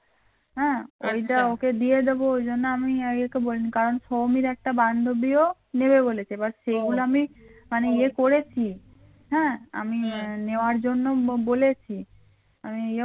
হ্যাঁ ওইটা ওকে দিয়ে দেব ওই জন্য আমি আর একে বলিনি কারণ সৌমীর একটা বান্ধবীও নেবে বলেছে but সেগুলো আমি মানে ইয়ে করেছি হম হ্যাঁ আমি নেওয়ার জন্য বলেছি আমি